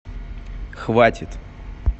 хватит